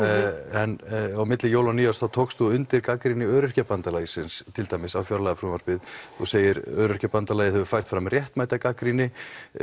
en á milli jóla og nýárs þá tókst þú undir gagnrýni Öryrkjabandalagsins til dæmis á fjárlagafrumvarpið þú segir Öryrkjabandalagið hafi fært fram réttmæta gagnrýni